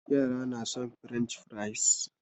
Yara na son french fries